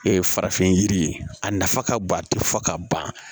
farafin yiri a nafa ka bon a tɛ fo ka ban